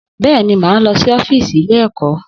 Bẹ́ẹ̀ni, mà á lọ sí ọ́fíìsì ilé-ẹ̀kọ́..